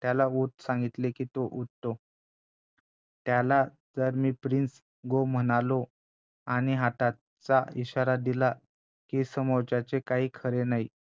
आणि त्याला उठ सांगितले, की तो उठतोत्याला जर मी प्रिन्स go म्हणालो आणि हाताचा इशारा दिला कि समोरच्याचे काही खरे नाही